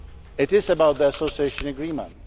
It is about the Association Agreement.